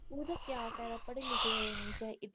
ਤੂੰ ਤੇ ਕਿਆ ਫਾਇਦਾ ਪੜ੍ਹੀ ਲਿਖੀ ਹੋਣ ਦਾ